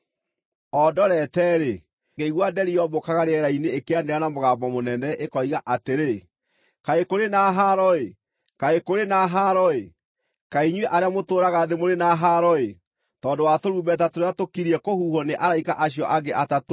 O ndorete-rĩ, ngĩigua nderi yombũkaga rĩera-inĩ ĩkĩanĩrĩra na mũgambo mũnene, ĩkoiga atĩrĩ: “Kaĩ kũrĩ na haaro-ĩ! Kaĩ kũrĩ na haaro-ĩ! Kaĩ inyuĩ arĩa mũtũũraga thĩ mũrĩ na haaro-ĩ, tondũ wa tũrumbeta tũrĩa tũkirie kũhuhwo nĩ araika acio angĩ atatũ-ĩ!”